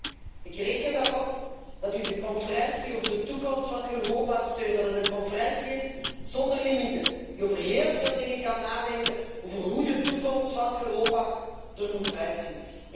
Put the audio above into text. En met u. Ik reken erop dat u de conferentie over de toekomst van Europa steunt. Dat het een conferentie is zonder limieten, die over heel veel dingen kan nadenken, over hoe de toekomst van Europa er moet uitzien.